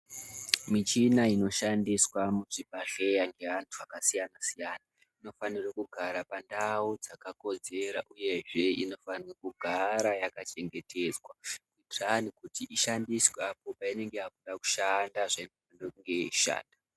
Michina inoshandiswa muchibhedhlera ngeantu akasiyana-siyana inofanirwe kugara pandau yakakodzera uyezve inofane kugara yakachengetedzwa kuti hai ishandiswe apo painenge yakuda kushanda zveinofane kunge yeishanda.